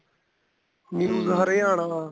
news Haryana